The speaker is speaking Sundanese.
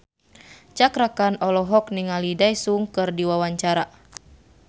Cakra Khan olohok ningali Daesung keur diwawancara